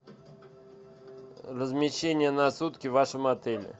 размещение на сутки в вашем отеле